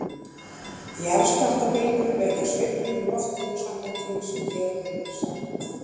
Jarðskjálftabylgjur vekja sveiflur í loftinu samkvæmt því sem hér hefur verið sagt.